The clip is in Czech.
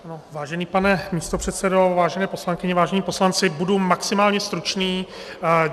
Vážený pane místopředsedo, vážené poslankyně, vážení poslanci, budu maximálně stručný.